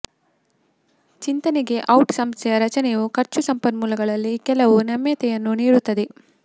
ಚಿಂತನೆಗೆ ಔಟ್ ಸಂಸ್ಥೆಯ ರಚನೆಯು ಖರ್ಚು ಸಂಪನ್ಮೂಲಗಳಲ್ಲಿ ಕೆಲವು ನಮ್ಯತೆಯನ್ನು ನೀಡುತ್ತದೆ